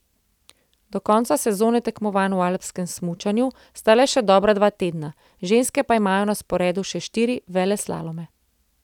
Do konca sezone tekmovanj v alpskem smučanju sta le še dobra dva tedna, ženske pa imajo na sporedu še štiri veleslalome.